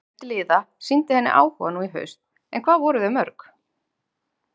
Fjöldi liða sýndi henni áhuga nú í haust en hvað voru þau mörg?